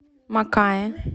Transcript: макаэ